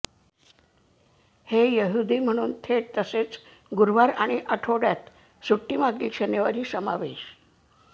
हे यहुदी म्हणून थेट तसेच गुरुवार आणि आठवड्यात सुट्टी मागील शनिवारी समावेश